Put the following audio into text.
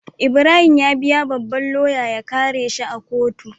Ibrahim ya biya babban loya ya kare shi a kotu